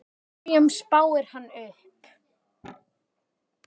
Hverjum spáir hann upp?